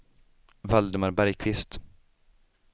Valdemar Bergkvist